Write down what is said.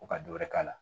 Ko ka dɔ wɛrɛ k'a la